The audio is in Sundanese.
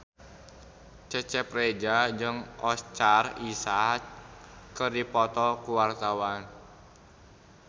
Cecep Reza jeung Oscar Isaac keur dipoto ku wartawan